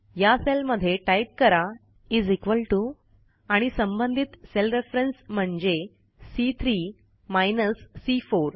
या सेलमध्ये टाईप करा इस इक्वॉल टीओ आणि संबंधित सेल रेफरन्स म्हणजे सी3 सी4